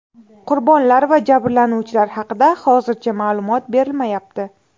Qurbonlar va jabrlanuvchilar haqida hozircha ma’lumot berilmayapti.